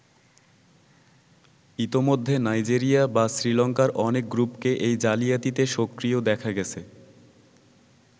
ইতোমধ্যে নাইজেরিয়া বা শ্রীলংকার অনেক গ্রুপকে এই জালিয়াতিতে সক্রিয় দেখা গেছে।